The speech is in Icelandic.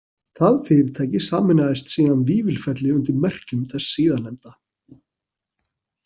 Það fyrirtæki sameinaðist síðan Vífilfelli undir merkjum þess síðarnefnda.